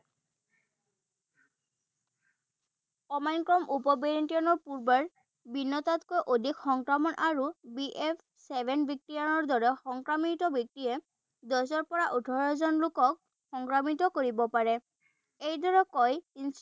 Omicron উপ variant ৰ পূৰ্বৰ অধিক সংক্ৰামক আৰু বি এফ্ ছেভেন বেক্টেৰিয়াৰে সংক্ৰমিত ব্যক্তিয়ে দহৰ পৰা ওঠৰজন লোকক সংক্ৰমিত কৰিব পাৰে। এইদৰে কয়